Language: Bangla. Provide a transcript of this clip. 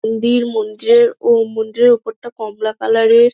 মন্দির মন্দিরের ও মন্দিরের ওপরটা কমলা কালার -এর ।